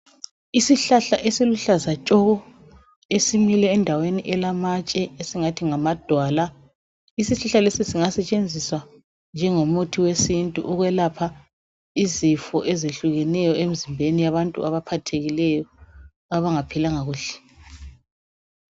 Isihlahla esiluhlaza tshoko esimile endaweni elamatshe esingathi ngamadwala. Isihlahla lesi singasetshenziswa njengomuthi wesintu ukwelapha izifo ezehlukeneyo emzimbeni yabantu abaphathekileyo abangaphilanga kuhle.